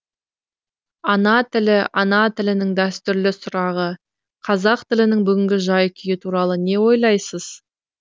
ана тілі ана тілінің дәстүрлі сұрағы қазақ тілінің бүгінгі жай күйі туралы не ойлайсыз